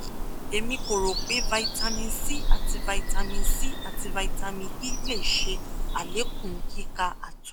emi ko ro pe vitamin c ati vitamin c ati vitamin e le ṣe alekun kika ato